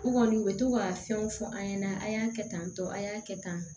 U kɔni u bɛ to ka fɛnw fɔ an ɲɛna a y'a kɛ tan tɔ a y'a kɛ tan